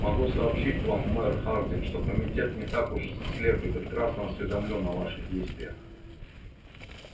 могу сообщить вам мэр хардин что комитет не так уж слеп и прекрасно осведомлён о ваших действиях